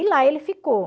E lá ele ficou.